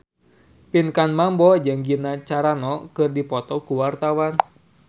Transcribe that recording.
Pinkan Mambo jeung Gina Carano keur dipoto ku wartawan